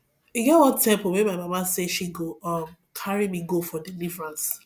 e get one temple wey my mama say she go um carry me go for deliverance